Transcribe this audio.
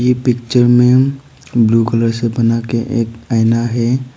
Picture में blue colour से बनाके एक आईना है।